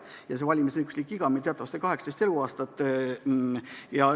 Ja see valmisõiguslik iga on meil teatavasti 18 eluaastat.